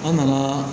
An nana